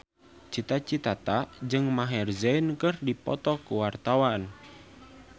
Cita Citata jeung Maher Zein keur dipoto ku wartawan